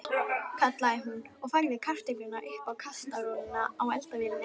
kallaði hún og færði kartöflur upp úr kastarolunni á eldavélinni.